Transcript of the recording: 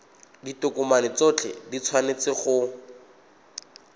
ditokomane tsotlhe di tshwanetse go